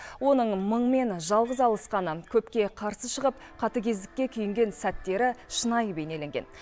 оның мыңмен жалғыз алысқаны көпке қарсы шығып қатыгездікке күйінген сәттері шынайы бейнеленген